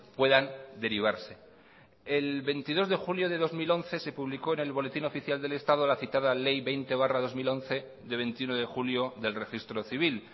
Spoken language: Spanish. puedan derivarse el veintidós de julio de dos mil once se publicó en el boletín oficial del estado la citada ley veinte barra dos mil once de veintiuno de julio del registro civil